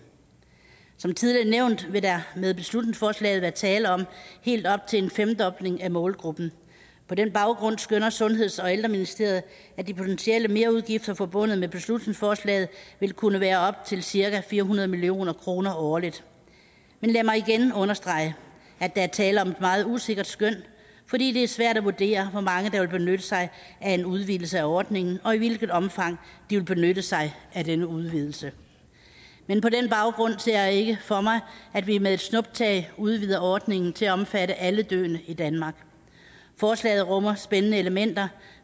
som tidligere nævnt vil der med beslutningsforslaget være tale om helt op til en femdobling af målgruppen på den baggrund skønner sundheds og ældreministeriet at de potentielle merudgifter forbundet med beslutningsforslaget vil kunne være på op til cirka fire hundrede million kroner årligt men lad mig igen understrege at der er tale om et meget usikkert skøn fordi det er svært at vurdere hvor mange der vil benytte sig af en udvidelse af ordningen og i hvilket omfang de vil benytte sig af denne udvidelse men på den baggrund ser jeg ikke for mig at vi med et snuptag udvider ordningen til at omfatte alle døende i danmark forslaget rummer spændende elementer